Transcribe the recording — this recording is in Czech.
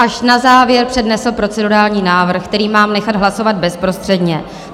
Až na závěr přednesl procedurální návrh, který mám nechat hlasovat bezprostředně.